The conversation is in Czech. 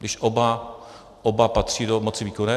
Když oba patří do moci výkonné?